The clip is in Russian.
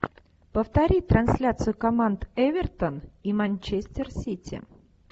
повтори трансляцию команд эвертон и манчестер сити